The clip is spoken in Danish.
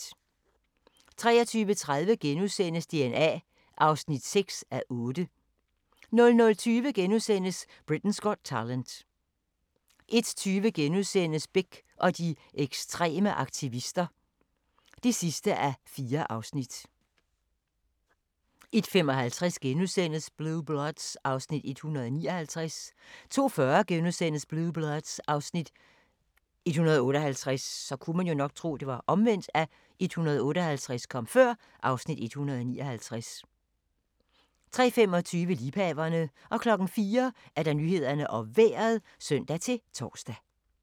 23:30: DNA (6:8)* 00:20: Britain's Got Talent * 01:20: Bech og de ekstreme aktivister (4:4)* 01:55: Blue Bloods (Afs. 159)* 02:40: Blue Bloods (Afs. 158)* 03:25: Liebhaverne 04:00: Nyhederne og Vejret (søn-tor)